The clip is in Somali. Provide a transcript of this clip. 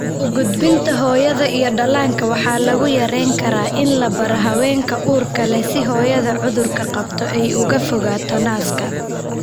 U gudbinta hooyada iyo dhallaanka waxaa lagu yarayn karaa in la baaro haweenka uurka leh si hooyada cudurka qabta ay uga fogaato naaska.